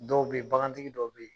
Dɔw bɛ yen bagantigi dɔw bɛ yen